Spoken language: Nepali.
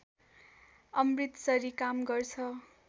अमृतसरी काम गर्छ